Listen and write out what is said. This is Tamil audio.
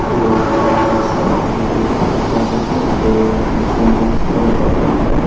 இது ஒரு கார் ஒர்க்ஷாப் இங்க ஏகப்பட்ட கார்ருக்கு நறைய எம்பிளாய்ஸ் வேலை பாக்குறாங்க.